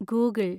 Google